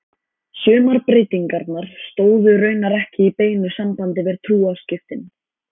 Sumar breytingarnar stóðu raunar ekki í beinu sambandi við trúarskiptin.